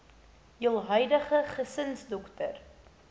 jul huidige gesinsdokter